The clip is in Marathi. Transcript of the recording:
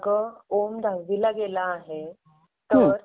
छान. अगं माझं एक काम होतं तुझ्याकडे.